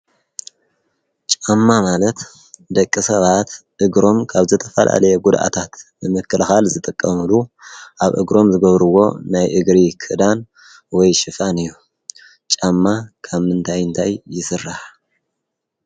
ጫማ ማለት ደቂ ሰባት እግሮም ካብ ዘተፋላለየ ጕድኣታት ምምክልኻል ዘተቀሙሉ ኣብ እግሮም ዝገብርዎ ናይ እግሪ ክዳን ወይ ሽፋን እዩ ጫማ ካብ ምንታይንታይ ይስራሕ